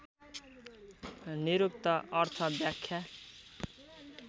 निरुक्त अर्थ व्याख्या